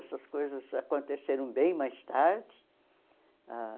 Essas coisas aconteceram bem mais tarde ah.